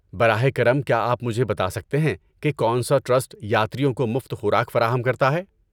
براہ کرم، کیا آپ مجھے بتا سکتے ہیں کہ کون سا ٹرسٹ یاتریوں کو مفت خوراک فراہم کرتا ہے؟